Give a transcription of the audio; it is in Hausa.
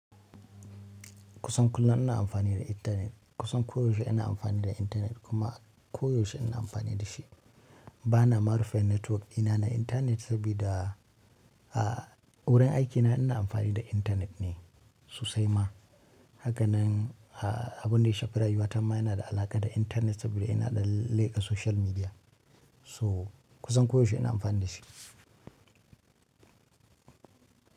Kusan kullum ina amfani da intanet. Kusan ko yaushe ina amfani da intanet kuma ko yaushe ina amfani da shi. Ba na ma rufe network dina na intanet sabida wurin aiki na in amfani da intanet ne. Sosai ma haka nan abin da ya shafi rayuwata ma yana da alaƙa da intanet saboda ina dan leka social media. So kusan koyaushe ina amfani da shi.